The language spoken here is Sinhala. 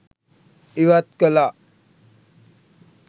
ඉවත් කළා